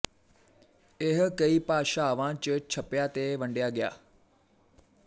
ਇਹ ਕਈ ਭਾਸ਼ਾਵਾਂ ਚ ਛਪਿਆ ਤੇ ਵੰਡਿਆ ਗਿਆ